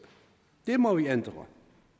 det må vi ændre